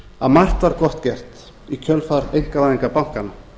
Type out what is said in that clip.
að margt var gott gert í kjölfar einkavæðingar bankanna